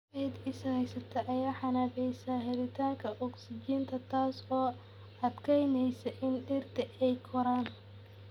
Ciidda is haysta ayaa xannibaysa helitaanka ogsijiinta, taas oo adkeynaysa in dhirta ay koraan.